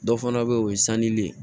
Dɔ fana bɛ yen o ye sannilen ye